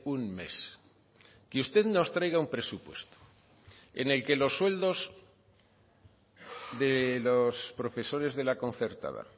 un mes que usted nos traiga un presupuesto en el que los sueldos de los profesores de la concertada